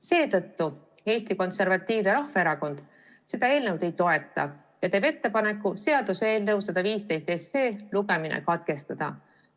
Seetõttu Eesti Konservatiivne Rahvaerakond seda eelnõu ei toeta ja teeb ettepaneku seaduseelnõu 115 lugemine katkestada.